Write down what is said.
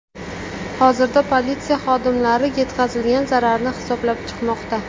Hozirda politsiya xodimlari yetkazilgan zararni hisoblab chiqmoqda.